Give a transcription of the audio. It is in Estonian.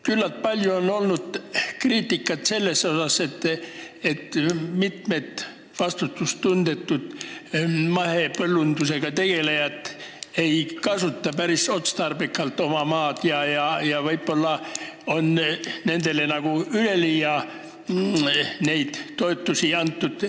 Küllalt palju on olnud kriitikat selle kohta, et vastutustundetud mahepõllundusega tegelejad ei kasuta oma maad päris otstarbekalt ja võib-olla on nendele üleliia toetusi antud.